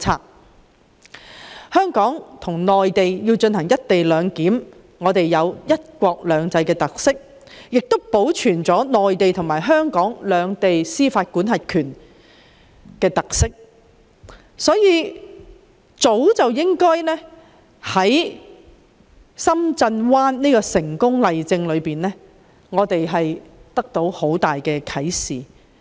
在香港與內地實施"一地兩檢"，既可彰顯"一國兩制"的特點，亦能保存內地及香港各自擁有司法管轄權的特色，這是我們早已從深圳灣口岸的成功例證中獲得的莫大啟示。